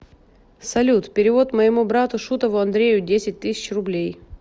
салют перевод моему брату шутову андрею десять тысяч рублей